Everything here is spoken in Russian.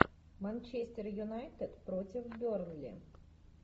манчестер юнайтед против бернли